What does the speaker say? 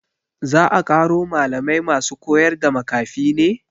Za a ƙaro malamai masu koyarda makafi ne?